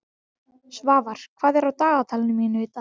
Svafar, hvað er á dagatalinu mínu í dag?